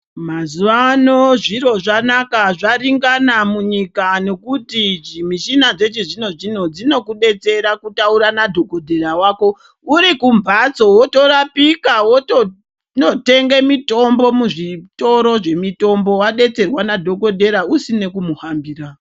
Mazuwa ano zviro zvanaka zvaringana munyika nekuti mishina yechizvino-zvino dzinokubetsera kutaura nadhokotera wako urikumphatso wotorapika wotonotenga mitombo muzvitoro zvemitombo wadetserwa nadhokotera usina kumuhambira.